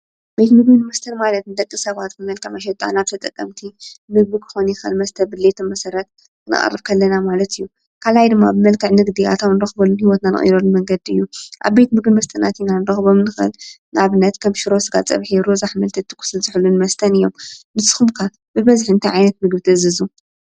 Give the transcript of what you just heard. ቤት ምግብን መስተን ማለት ንደቂ ሰባት ብመልክዕ መሸጣ ናብ ተጠቀምቱ ምግቢ ክኾን ይኽእል መስተ ፡፡ ብመሰረት ድሌት ክነቅርብ ከለና ማለት እዩ፡፡ ካልኣይ ድማ ብመልክዕ ንግዲ ኣታዉ ንረኽበሉ ሂወትና ንቕይረሉን መንገዲ እዩ፡፡ ኣብ ቤት ምግቢን መስተን ኣቲና ክንረኽቦም ንኽእል ንኣብነት ከም ሽሮ-ስጋ ፀብሒ፣ ሩዝን ኣሕምልቲ ትኩስን ዝሑልን መስተን እዮም፡፡ ንስኹም ከ ብበዝሒ እንታይ ዓይነት ምግቢ ትእዝዙ?